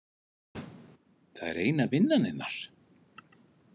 Það er eina vinnan hennar?